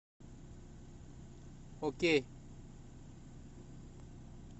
окей